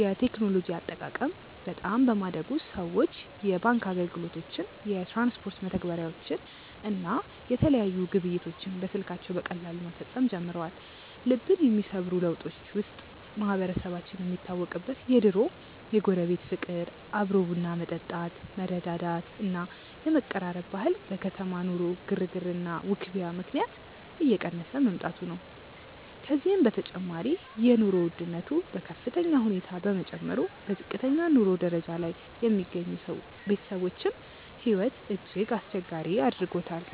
የቴክኖሎጂ አጠቃቀም በጣም በማደጉ ሰዎች የባንክ አገልግሎቶችን፣ የትራንስፖርት መተግበሪያዎችን እና የተለያዩ ግብይቶችን በስልካቸው በቀላሉ መፈጸም ጀምረዋል። ልብን የሚሰብሩ ለውጦች ውስጥ ማህበረሰባችን የሚታወቅበት የድሮው የጎረቤት ፍቅር፣ አብሮ ቡና መጠጣት፣ መረዳዳት እና የመቀራረብ ባህል በከተማ ኑሮ ግርግርና ውክቢያ ምክንያት እየቀነሰ መምጣቱ ነው። ከዚህም በተጨማሪ የኑሮ ውድነቱ በከፍተኛ ሁኔታ መጨመሩ በዝቅተኛ የኑሮ ደረጃ ላይ የሚገኙ ቤተሰቦችን ሕይወት እጅግ አስቸጋሪ አድርጎታል።